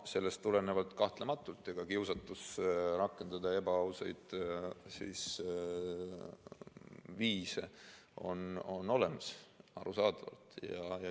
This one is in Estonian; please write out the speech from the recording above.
Sellest tulenevalt on kiusatus rakendada ebaausaid viise kahtlematult olemas, arusaadavalt.